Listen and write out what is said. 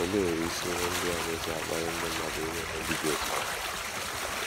Olee isi ihe ndị na - eso akpali ndị mmadụ ime ihe ndị dị otú ahụ?